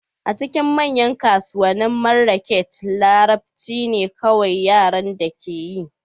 A cikin manyan kasuwannin Marrakech, Larabci ne kawai yaren da akeyi